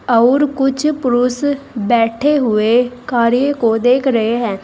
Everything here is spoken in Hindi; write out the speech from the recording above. और कुछ पुरुष बैठे हुए कार्य को देख रहे हैं।